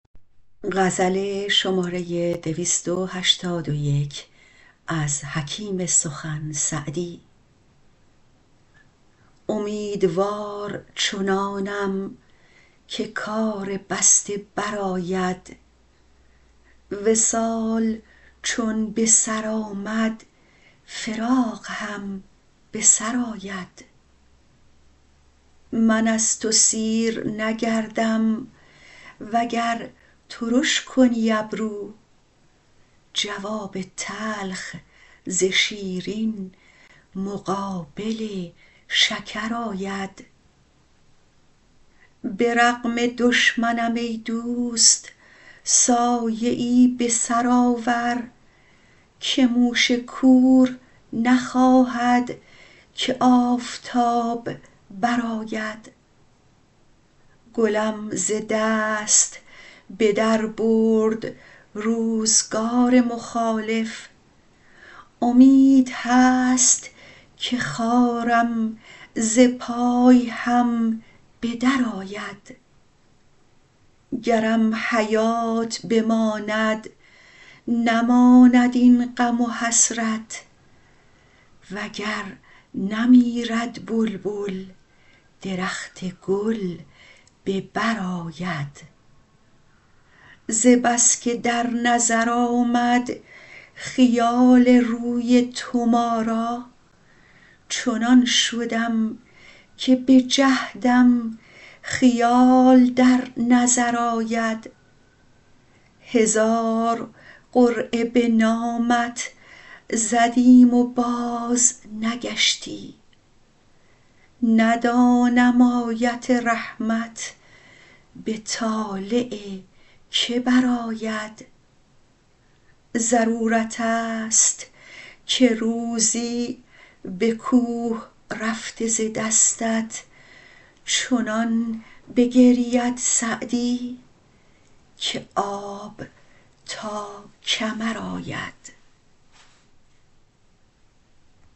امیدوار چنانم که کار بسته برآید وصال چون به سر آمد فراق هم به سر آید من از تو سیر نگردم وگر ترش کنی ابرو جواب تلخ ز شیرین مقابل شکر آید به رغم دشمنم ای دوست سایه ای به سر آور که موش کور نخواهد که آفتاب برآید گلم ز دست به در برد روزگار مخالف امید هست که خارم ز پای هم به درآید گرم حیات بماند نماند این غم و حسرت و گر نمیرد بلبل درخت گل به بر آید ز بس که در نظر آمد خیال روی تو ما را چنان شدم که به جهدم خیال در نظر آید هزار قرعه به نامت زدیم و بازنگشتی ندانم آیت رحمت به طالع که برآید ضرورت ست که روزی به کوه رفته ز دستت چنان بگرید سعدی که آب تا کمر آید